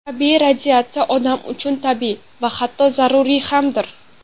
Tabiiy radiatsiya odam uchun tabiiy va hatto zaruriy hamdir.